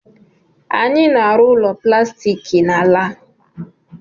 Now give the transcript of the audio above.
Anyị na-arụ ụlọ plastiki n'ala a